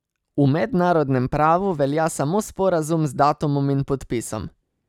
V mednarodnem pravu velja samo sporazum z datumom in podpisom.